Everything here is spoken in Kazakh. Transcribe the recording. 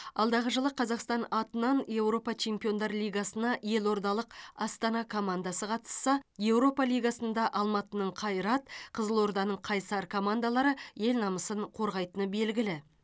алдағы жылы қазақстан атынан еуропа чемпиондар лигасына елордалық астана командасы қатысса еуропа лигасында алматының қайрат қызылорданың қайсар командалары ел намысын қорғайтыны белгілі